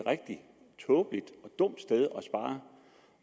rigtig tåbeligt